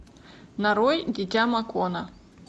нарой дитя макона